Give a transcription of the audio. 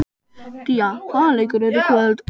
Día, hvaða leikir eru í kvöld?